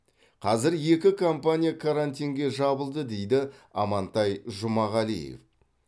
қазір екі компания карантинге жабылды дейді амантай жұмағалиев